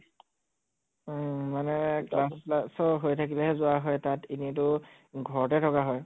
উম মানে class চাচ হৈ থাকিলেহে যোৱা হয় তাত, এনেই তো ঘৰতে থকা হয়